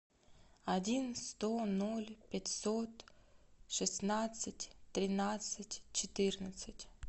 один сто ноль пятьсот шестнадцать тринадцать четырнадцать